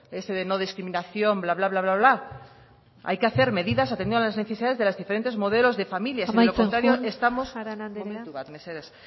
ese de no discriminación bla bla bla bla bla bla hay que hacer medidas atendiendo a las necesidades de los diferentes modelos de familias de lo contrario estamos amaitzen joan arana andrea momentu bat mesedez